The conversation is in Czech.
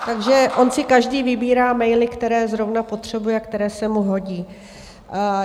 Takže on si každý vybírá maily, které zrovna potřebuje, které se mu hodí.